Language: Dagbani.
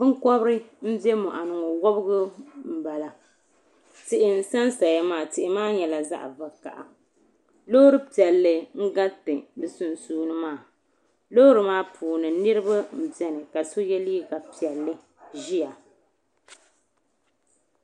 Binkobri n be moɣuni ŋɔ wobgu m bala tihi n sansaya maa tihi maa nyɛla zaɣa vakaha loori piɛlli n garita bɛ sunsuuni maa loori maa puuni niriba n biɛni ka so ye liiga piɛlli ʒia .